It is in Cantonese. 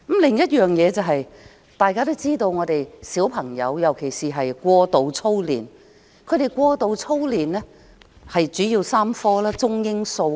此外，大家都知道現在的小朋友過度操練，過度操練的主要是中、英、數3科。